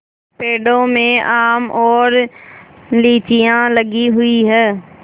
पेड़ों में आम और लीचियाँ लगी हुई हैं